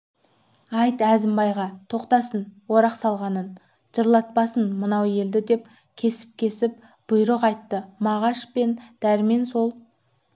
айт әзімбайға тоқтатсын орақ салғанын жылатпасын мынау елді деп кесіп-кесіп бұйрық айтты мағаш пен дәрмен сол